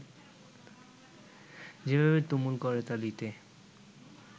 যেভাবে তুমুল করতালিতে